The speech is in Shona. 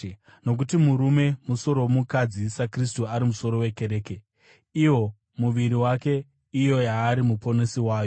Nokuti murume musoro womukadzi saKristu ari musoro wekereke, iwo muviri wake, iyo yaari muponesi wayo.